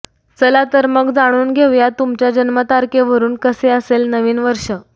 चला तर मग जाणून घेऊया तुमच्या जन्मतारखेवरून कसे असेल नवीन वर्ष